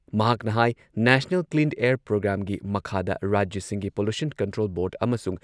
ꯃꯍꯥꯛꯅ ꯍꯥꯏ national clean air ꯄ꯭ꯔꯣꯒ꯭ꯔꯥꯝꯒꯤ ꯃꯈꯥꯗ ꯔꯥꯖ꯭ꯌꯁꯤꯡꯒꯤ ꯄꯣꯂꯨꯁꯟ ꯀꯟꯇ꯭ꯔꯣꯜ ꯕꯣꯔꯗ ꯑꯃꯁꯨꯡ